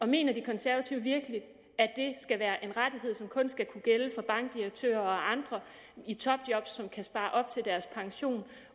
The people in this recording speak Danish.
mener de konservative virkelig at det skal være en rettighed som kun skal kunne gælde for bankdirektører og andre i topjob som kan spare op til deres pension